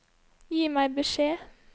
Gi meg beskjed